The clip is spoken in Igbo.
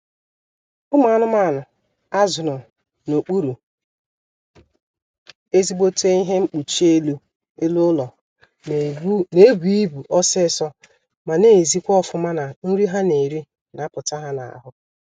Ụmụ anụmanụ a zụrụ n'okpuru ezigbote ihe mpkuchi elu ụlọ na-ebu ibu ọsịịsọ ma na-ezikwa ọfụma na nri ha na-eri na-apụta ha n'ahụ